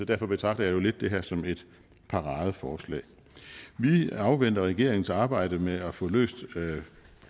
derfor betragter jeg jo lidt det her som et paradeforslag vi afventer regeringens arbejde med at få løst